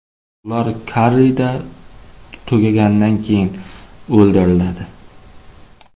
Ular korrida tugaganidan keyin o‘ldiriladi.